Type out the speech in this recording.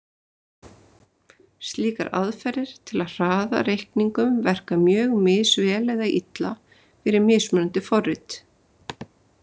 Slíkar aðferðir til að hraða reikningum verka mjög misvel eða illa fyrir mismunandi forrit.